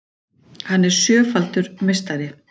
Hann er sjöfaldur meistari